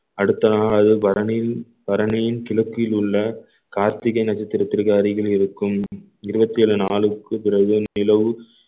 அடுத்தநாள் அதே பரணி பரணியின் கிழக்கில் உள்ள கார்த்திகை நட்சத்திரத்திற்கு அருகில் இருக்கும் இருபத்தி ஏழு நாளுக்கு பிறகு நிலவு